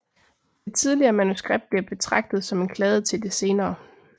Det tidligere manuskript bliver betragtet som en kladde til det senere